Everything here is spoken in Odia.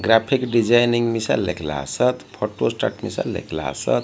ଗ୍ରାଫିକ ଡିଜାଇନିଙ୍ଗ ବିଷୟରେ ଲେଖିଲା ଆସତ ଫଟ ବିଷୟରେ ଲେଖିଲା ଆସତ --